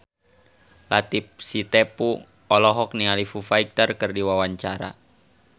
Latief Sitepu olohok ningali Foo Fighter keur diwawancara